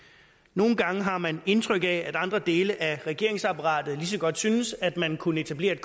nogle gange har man indtryk af at andre dele af regeringsapparatet lige så godt synes at man kunne etablere et